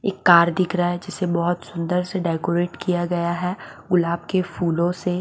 एक कार दिख रहा है जिसे बहुत सुंदर से डेकोरेट किया गया है गुलाब के फूलों से।